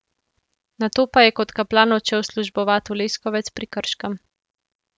Nato pa je kot kaplan odšel službovat v Leskovec pri Krškem.